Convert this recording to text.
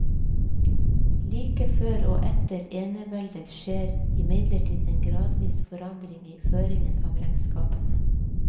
Like før og etter eneveldet skjer imidlertid en gradvis forandring i føringen av regnskapene.